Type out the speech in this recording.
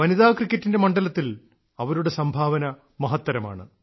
വനിതാ ക്രിക്കറ്റിന്റെ മണ്ഡലത്തിൽ അവരുടെ സംഭാവന മഹത്തരമാണ്